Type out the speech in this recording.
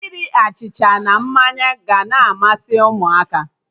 Iri achịcha na mmanya ga na amasị Ụmụaka